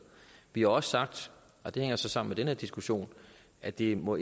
vi har også sagt og det hænger så sammen med den her diskussion at det ikke må